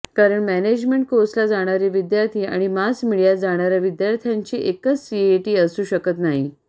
कारण मॅनेजमेंट कोर्सला जाणारे विद्यार्थी आणि मास मीडियात जाणाऱ्या विद्यार्थ्यांची एकच सीईटी असू शकत नाही